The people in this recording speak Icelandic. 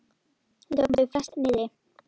Við tókum þau flest niðri.